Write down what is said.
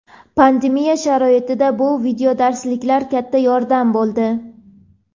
pandemiya sharoitida bu videodarslar katta yordam bo‘ldi.